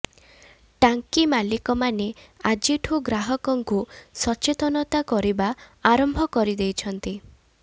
ଟାଙ୍କି ମାଲିକମାନେ ଆଜିଠୁ ଗ୍ରାହକଙ୍କୁ ସଚେତନତା କରିବା ଆରମ୍ଭ କରିଦେଇଛନ୍ତି